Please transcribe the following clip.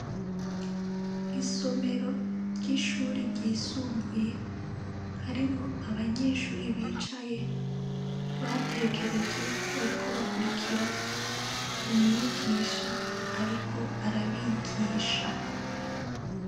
Isomero ry’ishuri ryisumbuye harimwo abanyeshure bicaye ,batekereje bariko bakurikira ,umwigisha ariko arabigisha.